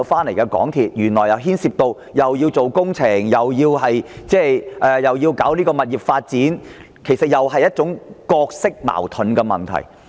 因為港鐵公司既要負責建造工程，也要處理物業發展事宜，當中存在角色矛盾的問題。